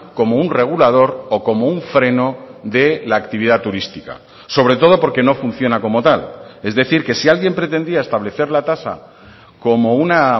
como un regulador o como un freno de la actividad turística sobre todo porque no funciona como tal es decir que si alguien pretendía establecer la tasa como una